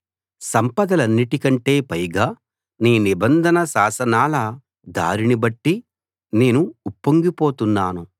సంపదలన్నిటి కంటే పైగా నీ నిబంధన శాసనాల దారిని బట్టి నేను ఉప్పొంగిపోతున్నాను